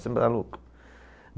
Você é maluco?